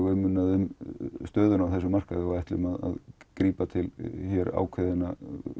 umhugað um stöðuna á þessum markaði og við ætlum að grípa til ákveðinnar